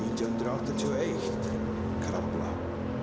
nítján hundruð áttatíu og eitt krafla